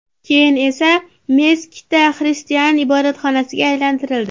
Keyin esa Meskita xristian ibodatxonasiga aylantirildi.